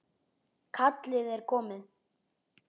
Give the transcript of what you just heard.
Kallið er komið.